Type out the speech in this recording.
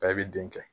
A bɛ den kɛ